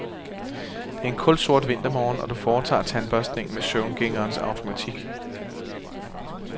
Det er en kulsort vintermorgen, og du foretager tandbørstningen med søvngængerens automatik.